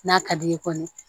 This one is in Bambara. N'a ka d'i ye kɔni